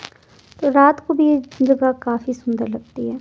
रात को भी यह जगह काफी सुंदर लगती है।